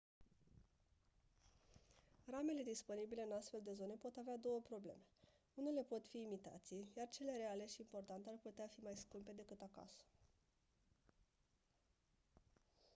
ramele disponibile în astfel de zone pot avea două probleme unele pot fi imitații iar cele reale și importate ar putea fi mai scumpe decât acasă